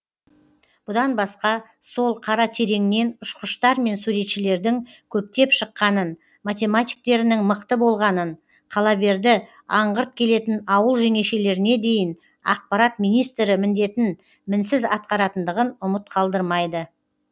бұдан басқа сол қаратереңнен ұшқыштар мен суретшілердің көптеп шыққанын математиктерінің мықты болғанын қалаберді аңғырт келетін ауыл жеңешелеріне дейін ақпарат министрі міндетін мінсіз атқаратындығын ұмыт қалдырмайды